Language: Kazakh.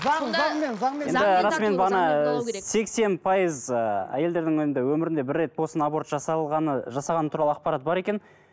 сексен пайыз ыыы әйелдердің енді өмірінде бір рет болсын аборт жасалғаны жасағаны туралы ақпарат бар екен